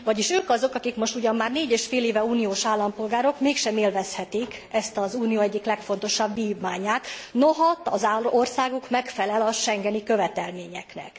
Vagyis ők azok, akik most ugyan már négy és fél éve uniós állampolgárok, mégsem élvezhetik ezt, az unió egyik legfontosabb vívmányát, noha az országuk megfelel a schengeni követelményeknek.